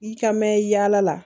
I ka mɛn yaala la